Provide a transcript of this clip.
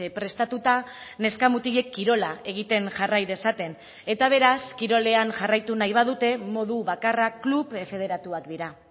prestatuta neska mutilek kirola egiten jarrai dezaten eta beraz kirolean jarraitu nahi badute modu bakarra klub federatuak dira